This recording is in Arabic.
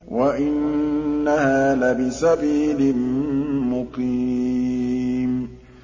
وَإِنَّهَا لَبِسَبِيلٍ مُّقِيمٍ